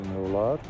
Gətirmək olar.